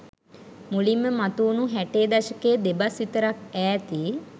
මුලින්ම මතුවුනු හැටේ දශකයේ දෙබස් විතරක් ඈති